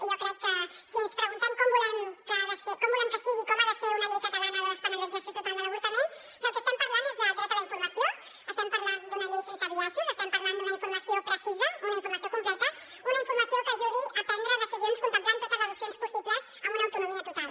jo crec que si ens preguntem com volem que sigui com ha de ser una llei catalana de despenalització total de l’avortament del que estem parlant és de dret a la informació estem parlant d’una llei sense biaixos estem parlant d’una informació precisa una informació completa una informació que ajudi a prendre decisions contemplant totes les opcions possibles amb una autonomia total